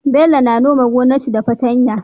Bello na nome gonar shi da fatan ya